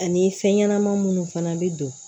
Ani fɛn ɲɛnɛma munnu fana bɛ don